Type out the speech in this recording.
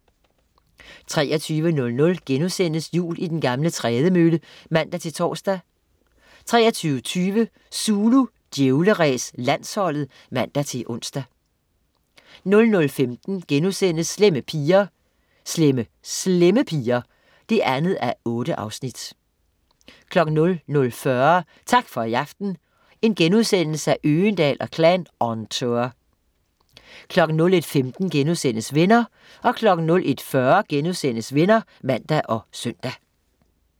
23.00 Jul i den gamle trædemølle* (man-tors) 23.20 Zulu Djævleræs: Landsholdet (man-ons) 00.15 Slemme Slemme Piger 2:8* 00.40 Tak for i aften, Øgendahl & Klan on tour* 01.15 Venner* 01.40 Venner* (man og søn)